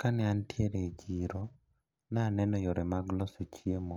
Kane antiere e chiro naneno yore mag loso chiemo